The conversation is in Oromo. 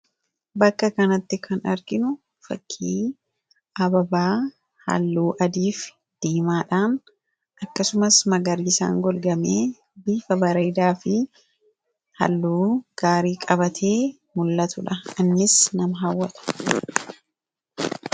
Bakka kanatti kan arginu fakkii ababaa halluu adii fi diimaadhaan akkasumas magariisaan golgamee bifa bareedaa fi halluu gaarii qabatee mul'atudha. Innis nama hawwata!